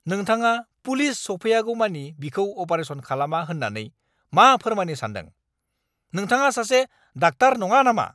नोंथाङा पुलिस सौफैयागौमानि बिखौ अपारेसन खालामा होननानै मा फोरमायनो सान्दों? नोंथाङा सासे डाक्टार नङा नामा?